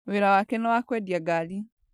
Wĩra wake nĩ wa kwendia ngari.